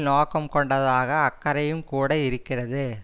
நோக்கம் கொண்டதாக அக்கறையும் கூட இருக்கிறது